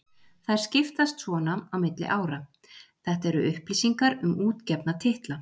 Þær skiptast svona á milli ára: Þetta eru upplýsingar um útgefna titla.